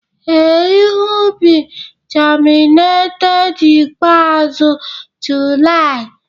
Ee, ihe ubi germinated ikpeazụ July